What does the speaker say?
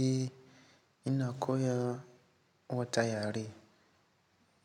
Eh ina koya wata yare